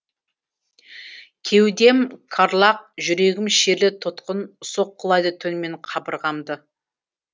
кеудем карлаг жүрегім шерлі тұтқын соққылайды түнімен қабырғамды